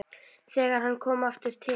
Þegar hann kom aftur til